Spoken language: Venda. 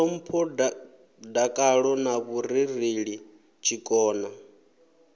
ṱhompho dakalo na vhurereli tshikona